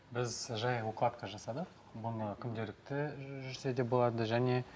біз жай укладка жасадық бұны күнделікті жүрсе де болады және